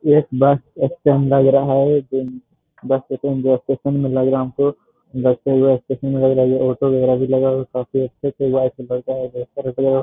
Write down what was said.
एक bus stand लग रहा है जिन बस स्टैंड बस स्टैंड लग रहा है हमको ऑटो वगेरा भी गया हुआ है काफी अच्छा से --